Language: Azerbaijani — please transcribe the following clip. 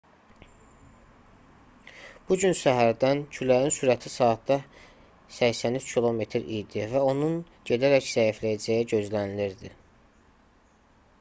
bu gün səhərdən küləyin sürəti saatda 83 km idi və onun gedərək zəifləyəcəyi gözlənilirdi